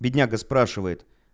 бедняга спрашивает